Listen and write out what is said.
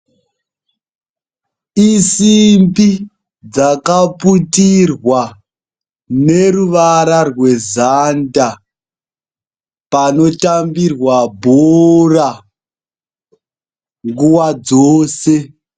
Isimbi dzakaputirwa neruvara rwezanda, panotambirwa bhora nguwa dzose.